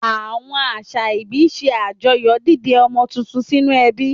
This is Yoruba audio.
Àwọn àṣà ìbí ṣe àjọyọ̀ dídé ọmọ tuntun sínú ẹbí.